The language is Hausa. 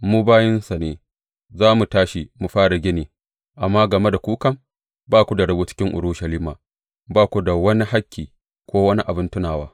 Mu bayinsa za mu tashi mu fara gini, amma game da ku kam, ba ku da rabo cikin Urushalima, ba ku da wani hakki ko wani abin tunawa.